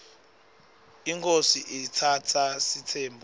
inkhosi iatsatsa sitsembu